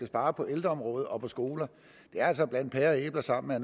spare på ældreområdet og på skoler der er altså at blande pærer og æbler sammen er